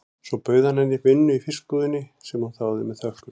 Svo hann bauð henni vinnu í fiskbúðinni, sem hún þáði með þökkum.